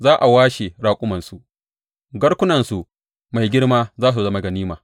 Za a washe raƙumansu, garkunansu mai girma za su zama ganima.